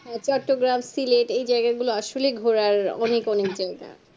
SelateChottogram, Selate এই জায়গা গুলো আসলে ঘুরার অনেক অনেক জায়গা